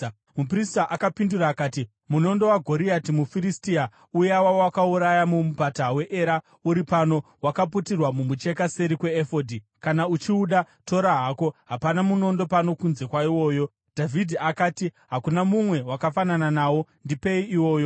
Muprista akapindura akati, “Munondo waGoriati muFiristia, uya wawakauraya muMupata weEra, uri pano; wakaputirwa mumucheka seri kweefodhi; kana uchiuda, tora hako; hapana munondo pano kunze kwaiwoyo.” Dhavhidhi akati, “Hakuna mumwe wakafanana nawo; ndipei iwoyo.”